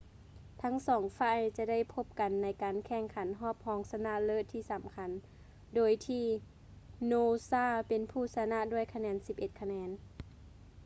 ທັງສອງຝ່າຍຈະໄດ້ພົບກັນໃນການແຂ່ງຂັນຮອບຮອງຊະນະເລີດທີ່ສຳຄັນ ໂດຍທີ່ noosa ເປັນຜູ້ຊະນະດ້ວຍຄະແນນ 11 ຄະແນນ